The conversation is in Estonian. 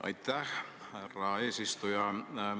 Aitäh, härra eesistuja!